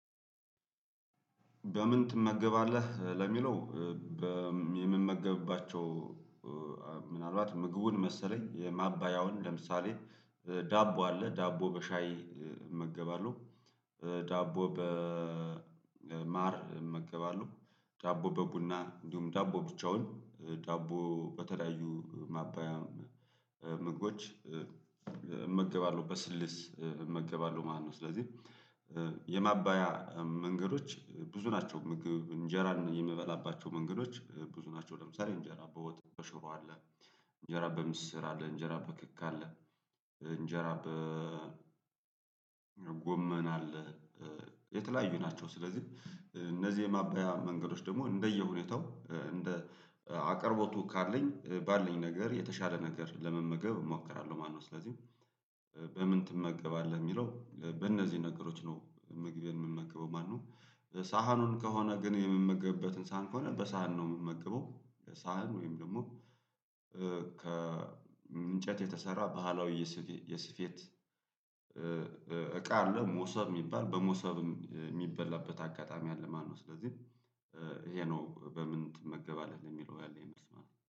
በምን ትመገባለህ ለሚለው? የምመገብባቸው ምናልባት ምግቡን መሰለኝ የማባያውን ለምሳሌ ዳቦ አለ ዳቦ በሻይ ዳቦ በማር እመገባለሁ ዳቦ በቡና እንዲሁም ዳቦ ብቻውን ዳቦ በተለያዩ ማባያ ምግቦች እመገባለሁ በስልስ እመገባለሁ ማለት ነው። ስለዚህ የማባያ መንገዶች ብዙ ናቸው ምግብ እንጀራን የምበላባቸው መንገዶች ብዙ ናቸው። ለምሳሌ እንጀራ በወጥ በሽሮ አለ እንጀራ በምስር አለ እንጀራ በክክ አለ እንጀራ በጎመን የተለያዩ ናቸው። ስለዚህ እነዚህ የማባያ መንገዶች ደግሞ እንደየሁኔታው እንደ አቅርቦቱ ካለኝ ባለኝ ነገር የተሻለ ነገር ለመመገብ እሞክራለሁ ማለት ነው። ስለዚህ በምን ትመገባለህ ሚለው በእነዚህ ነገሮች ነው ምግቤን የምመገበው ማለት ነው። ሳህኑን ከሆነ ግን የምመገብበትን ሳህን ከሆነ በሳህን ነው የምመገበው ሳህን ወይም ደግሞ ከእንጨት የተሰራ ባህላዊ የስፌት እቃ አለ ሞሰብ ሚባል በሞሰብ ሚበላበት አጋጣሚ አለ። ማነው ስለዚህ ይሄ ነው በምን ትመገባለህ? የሚለው ያለኝ መልስ